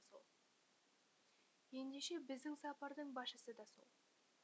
ендеше біздің сапардың басшысы да сол